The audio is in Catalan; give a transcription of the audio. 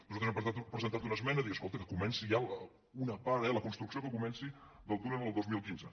nosaltres hem presentat una esmena de dir escolta que comenci ja una part eh la construcció que comenci del túnel el dos mil quinze